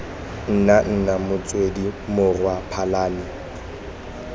nna nna motswedi morwa phalane